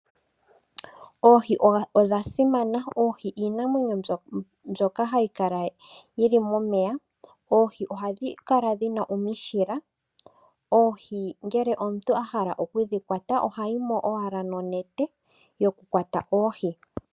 Oohi odha simana. Oohi iinamwenyo mbyoka hayi kala yili momeya . Oohi ohadhi kala dhina omishila. Oohi ngele omuntu ahala oku dhi kwata ohayi mo owala ninete yoku kwata oohi.